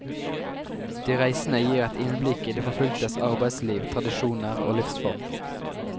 De reisende gir et innblikk i de forfulgtes arbeidsliv, tradisjoner og livsform.